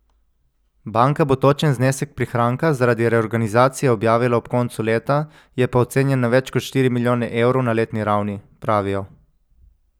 Banka bo točen znesek prihranka zaradi reorganizacije objavila ob koncu leta, je pa ocenjen na več kot štiri milijone evrov na letni ravni, pravijo.